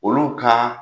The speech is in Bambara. Olu ka